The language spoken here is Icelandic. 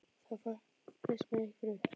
Þá fyrst má ég fara upp.